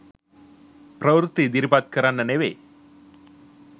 ප්‍රවෘත්ති ඉදිරිපත් කරන්න නෙවේ.